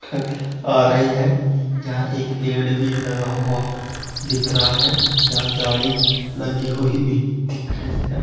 आ रही है यहां एक पेड़ भी लगा हुआ दिख रहा है यहां झाड़ी लगी हुई भी दिख रही है।